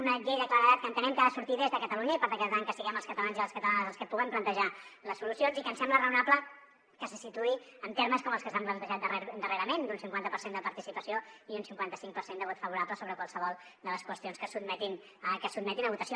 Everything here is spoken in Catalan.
una llei de claredat que entenem que ha de sortir des de catalunya i per tant que siguem els catalans i les catalanes els que puguem plantejar les solucions i que ens sembla raonable que se situï en termes com els que s’han plantejat darrerament d’un cinquanta per cent de participació i un cinquanta cinc per cent de vot favorable sobre qualsevol de les qüestions que es sotmetin a votació